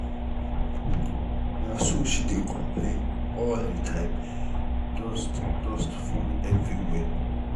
na so she dey complain all the time dust dust full everywhere.